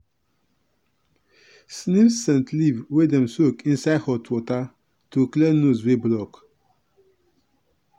sniff scent leaf wey dem soak inside hot water to clear nose wey block.